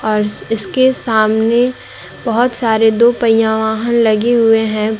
और इसके सामने बहुत सारे दो पहिया वाहन लगे हुए हैं।